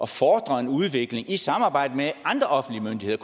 fordre en udvikling i samarbejde med andre offentlige myndigheder